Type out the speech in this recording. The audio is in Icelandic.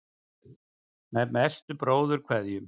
Með bestu bróðurkveðjum.